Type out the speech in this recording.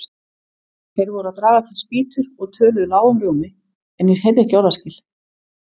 Þeir voru að draga til spýtur og töluðu lágum rómi, en ég heyrði ekki orðaskil.